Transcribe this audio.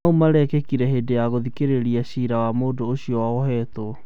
maũ marekĩkire hindĩ ya guthikĩrĩrio gwa cira wa mũndũ ũcio ũria wohetwo